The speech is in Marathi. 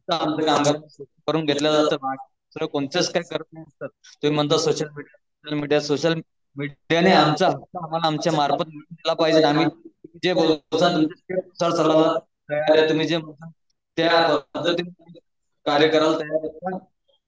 करू घेतलं जात सर तुम्ही म्हणता सोशल मीडिया ने आमचे त्या कार्यक्रम